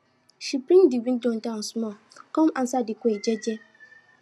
she bring de window down small com answer de query jeje